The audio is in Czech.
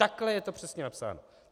Takhle je to přesně napsáno.